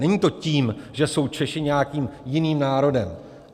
Není to tím, že jsou Češi nějakým jiným národem.